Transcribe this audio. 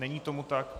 Není tomu tak.